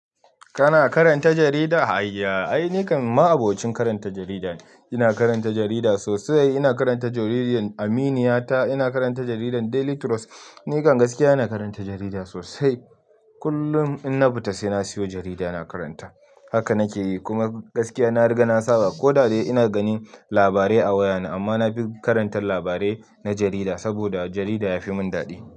Kana karanta jarida? Hayya, ai ni kam ba'abocin karanta jarida ne, ina karanta jarida sosai. Ina karanta jaridar Aminiya ta. Ina karanta jaridar Daily Trust. Ni kan gaskiya ina karanta jarida sosai. Kullum in na fita sai na siyo jarida ina karanta. Haka nake yi. Kuma gaskiya na riga na saba. Ko da dai ina ganin labarai a wayana amma na fi karanta labarai na jarida saboda jarida ya fi mun daɗi.